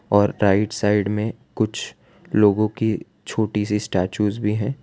और right side में कुछ लोगो की छोटी सी स्टेच्यूज भी हैं।